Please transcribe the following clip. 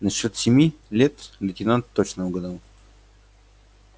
насчёт семи лет лейтенант точно угадал